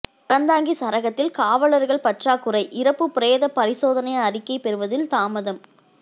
அறந்தாங்கி சரகத்தில் காவலர்கள் பற்றாக்குறை இறப்பு பிரேத பரிசோதனை அறிக்கை பெறுவதில் தாமதம்